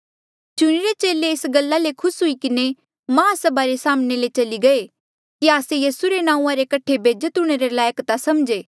चुणिरे चेले एस गल्ला ले खुस हुई किन्हें माहसभा रे साम्हणें ले चली गये कि आस्से यीसू रे नांऊँआं रे कठे बेज्जत हूंणे रे लायक ता समझे